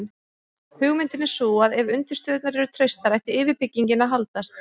hugmyndin er sú að ef undirstöðurnar eru traustar ætti yfirbyggingin að haldast